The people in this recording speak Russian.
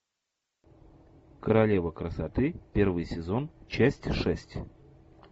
королева красоты первый сезон часть шесть